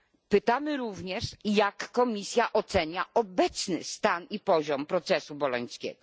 Pytamy również, jak Komisja ocenia obecny stan i poziom procesu bolońskiego?